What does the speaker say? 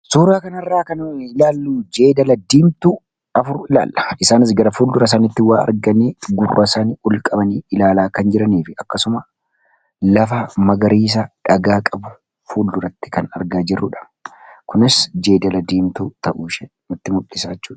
Suura kana irraa kan ilaallu jeedala diimtuu afur ilaalla. Isaanis gara fuuldura isaaniitti waa arganii, gurra isaanii olqabaniidha kan jiranii fi akkasuma lafa magariisa dhagaa qabu fuldura isaaniitti kan argaa jirrudha. Kunis jeedala diimtuu ta'u ishee nutti mul'isa jechuudha.